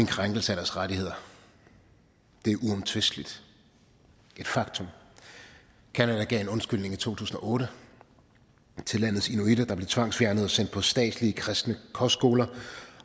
krænkelse af deres rettigheder det er uomtvisteligt et faktum canada gav en undskyldning i to tusind og otte til landets inuitter der blev tvangsfjernet og sendt på statslige kristne kostskoler